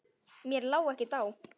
Mér lá ekkert á.